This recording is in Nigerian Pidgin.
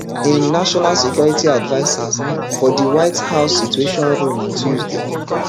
im national security advisers for di white house situation room on tuesday